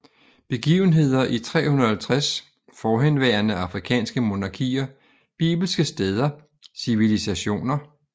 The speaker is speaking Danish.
Begivenheder i 350 Forhenværende afrikanske monarkier Bibelske steder Civilisationer